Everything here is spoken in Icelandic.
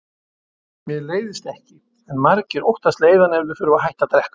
Mér leiðist ekki, en margir óttast leiðann ef þeir þurfa að hætta að drekka.